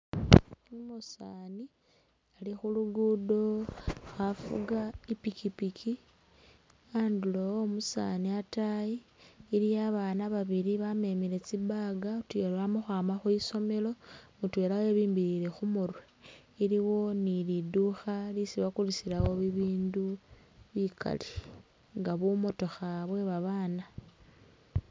Umusani ali khu'luguddo khafuga ipikipiki, andulo omusani ataayi iliwo abana babili babemile tsi'bag utuyori bamakhwama khwisomelo mutwela webimbilile khumurwe iliwo ni'lindukha lyesi bakulisilawo bibindu bikaali nga bumotokha bwe'babana